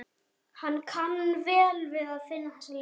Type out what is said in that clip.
Hann kann vel við að finna þessa lykt.